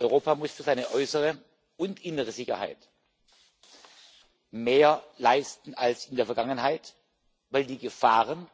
Europa muss für seine äußere und innere Sicherheit mehr leisten als in der Vergangenheit, weil die Gefahren